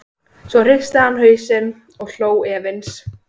Svo hristi hann hausinn og hló efins.